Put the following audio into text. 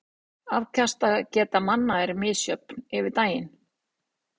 Afkastageta manna er misjöfn yfir daginn.